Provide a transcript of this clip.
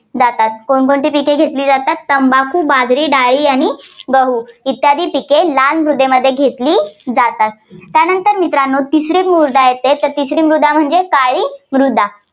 जातात. कोण कोणती पिक घेतली जातात तंबाखू, बाजरी, डाळी आणि गहू इत्यादी पिक लाल मृदेमध्ये घेतला जातात. त्यानंतर मित्रांनो तिसरी मृदा म्हणजे, काळी मृदा.